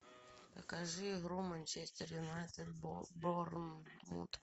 покажи игру манчестер юнайтед борнмут